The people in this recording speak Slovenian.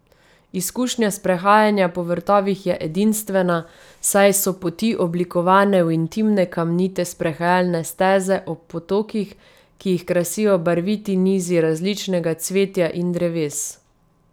Izkušnja sprehajanja po vrtovih je edinstvena, saj so poti oblikovane v intimne kamnite sprehajalne steze ob potokih, ki jih krasijo barviti nizi različnega cvetja in dreves.